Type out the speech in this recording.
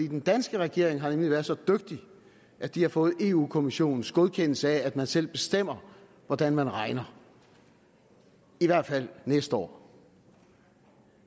den danske regering har nemlig været så dygtig at de har fået eu kommissionens godkendelse af at man selv bestemmer hvordan man regner i hvert fald næste år